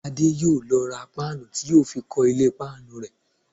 Adé yóò lọ ra páànù tí yóò fi kọ́ ilé páànù rẹ̀